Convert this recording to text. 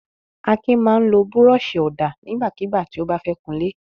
Akin máa ń lo búrọ́ṣì-ọ̀dà nígbàkigbà tí ó bá fẹ́ kunlé.